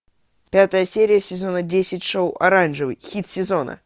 пятая серия сезона десять шоу оранжевый хит сезона